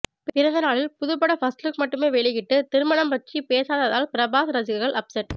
பிறந்தநாளில் புதுப்பட first look மட்டுமே வெளியிட்டு திருமணம் பற்றி பேசாததால் பிரபாஸ் ரசிகர்கள் அப்செட்